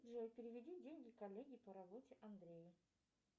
джой переведи деньги коллеге по работе андрею